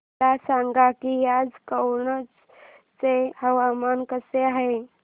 मला सांगा की आज कनौज चे हवामान कसे आहे